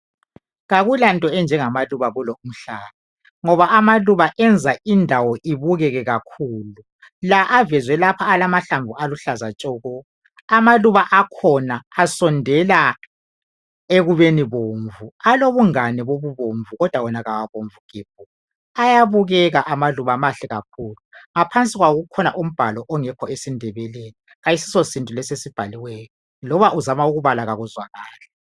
Kakulanto enjengamaluba kulo umhlaba ngoba amaluba enza indawo ibukeke kakhulu. La avezwe lapha alamahlamvu aluhlaza tshoko. Amaluba akhona asondela ekubeni bomvu. Alobungane bobubomvu kodwa wona kawabomvu gebhu. Ayabukeka amaluba mahle kakhulu. Ngaphansi kwawo kukhona umbhalo ongekho esiNdebeleni. Kayisiso siNdebele lesi esibhaliweyo loba uzama ukubala kakuzwakali.